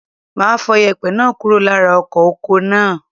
Máa fọ yèpẹ̀ náà kúrò lára ọkọ̀ oko náà.